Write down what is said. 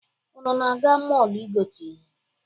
Unu na-aga mọọlụ igote ihe?